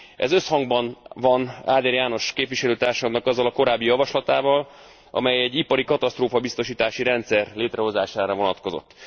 Ez összhangban van Áder János képviselőtársamnak azzal a korábbi javaslatával, amely egy iparikatasztrófa biztosítási rendszer létrehozására vonatkozott.